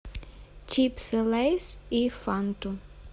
чипсы лейс и фанту